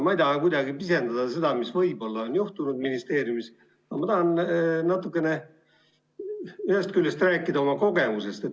Ma ei taha kuidagi pisendada seda, mis võib olla juhtunud ministeeriumis, aga ma tahan natukene rääkida oma kogemusest.